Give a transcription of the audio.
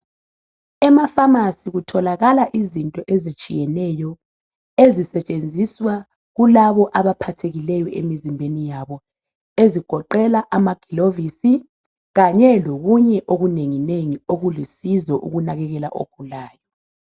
ema phamarcy kutholakala izinto ezitshiyeneyo ezisetshenziswa kulabo abaphathekileyo emzimbeni yabo ezigoqela amagilovisi kanye lokunye okulingeneyo okulusizo ukunakekela ogulayo